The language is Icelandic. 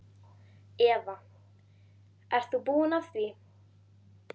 Eva: Ert þú búinn að því?